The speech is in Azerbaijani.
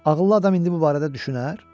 Ağıllı adam indi bu barədə düşünər?